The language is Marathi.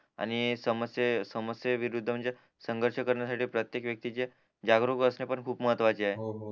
आणि समस्ये समस्ये विरुद्ध म्हणजे संघष करण्यासाठी प्रत्येक व्यक्तीचे जागरूक असणे पण खूप महत्वाचे आहे